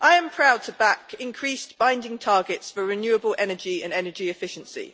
I am proud to back increased binding targets for renewable energy and energy efficiency.